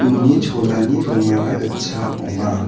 uni cholani rongara gitchak ong·a.